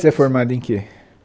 Você é formada em que?